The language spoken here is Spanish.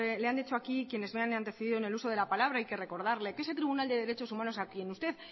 le han hecho aquí quienes me han antecedido en el uso de la palabra hay que recordarle que ese tribunal de derechos humanos a quien usted